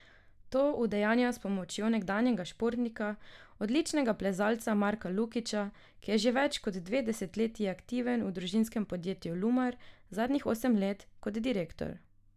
To udejanja s pomočjo nekdanjega športnika, odličnega plezalca Marka Lukića, ki je že več kot dve desetletji aktiven v družinskem podjetju Lumar, zadnjih osem let kot direktor.